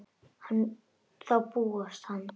Þá bugast hann.